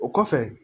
O kɔfɛ